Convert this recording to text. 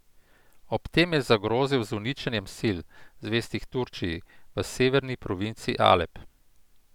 Ob tem je zagrozil z uničenjem sil, zvestih Turčiji, v severni provinci Alep.